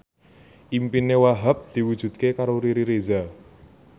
impine Wahhab diwujudke karo Riri Reza